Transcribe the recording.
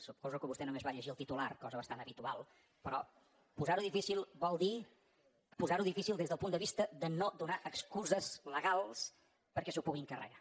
suposo que vostè només va llegir el titular cosa bastant habitual però posar ho difícil vol dir posar ho difícil des del punt de vista de no donar excuses legals perquè s’ho puguin carregar